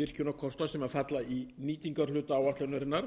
virkjunarkosta sem falla í nýtingarhluta áætlunarinnar